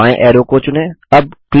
सबसे बायें ऐरो को चुनें